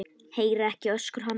Heyri ekki öskur hans.